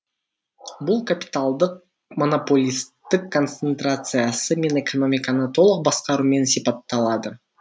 бұл капиталдық монополистік концентрациясы мен экономиканы толық басқарумен сипатталады